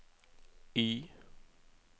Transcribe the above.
Y